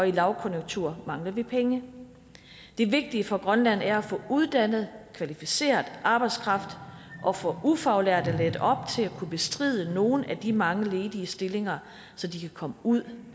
lavkonjunktur mangler vi penge det vigtige for grønland er at få uddannet kvalificeret arbejdskraft og få ufaglærte lært op til at kunne bestride nogle af de mange ledige stillinger så de kan komme ud